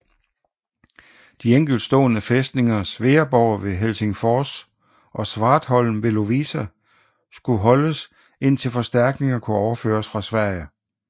De enkeltstående fæstninger Sveaborg ved Helsingfors og Svartholm ved Lovisa skulle holdes indtil forstærkninger kunne fremføres fra Sverige